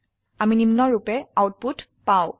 আমি নিম্নৰুপে আউটপুট পাই